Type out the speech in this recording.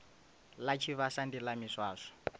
ḽa tshivhasa ndi ḽa miswaswo